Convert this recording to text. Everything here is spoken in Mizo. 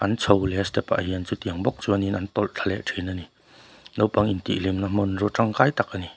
an chho leh a step ah hian chutiang bawk chuanin an tawlh thla leh thin a ni naupang intih hlimna hmanraw tangkai tak a ni.